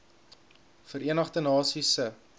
verenigde nasies se